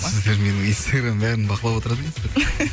сіздер менің инстаграмым бәрін бақылап отырады екенсіздер